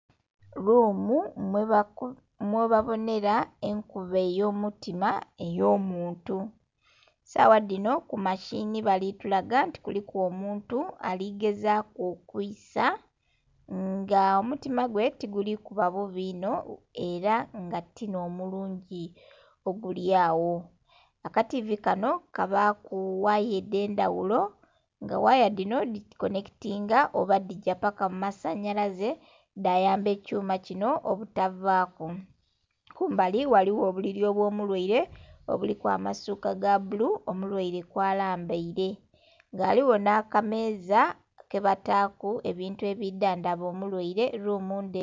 Luumu mwebabonhera enkuba eyomutima ey'omuntu sawa dhinho kumashinhi balitulaga nti kuliku omuntu aligezaku okwisa nga omutima gwe tigulikuba bubi inho era nga tinhomulungi ogulyagho akativi kanho kabaku ghaya edhendhaghulo nga ghaya dhinho dhikonhekitinga oba dhigya paka mumasonyalaze dhayamba ekyuma kinho obutavaku. Kumbali ghaligho obuliri obwomulyaire obuliku amasuka gabbulu omulyaire kwalambeere nga ghaligho nhakameza kebataku ebintu ebidhandhaba omulyaire eluumu nde...